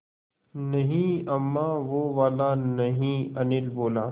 नहीं अम्मा वो वाला नहीं अनिल बोला